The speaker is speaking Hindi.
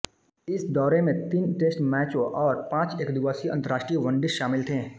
इस दौरे में तीन टेस्ट मैचों और पांच एकदिवसीय अंतर्राष्ट्रीय वनडे शामिल थे